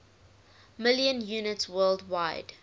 million units worldwide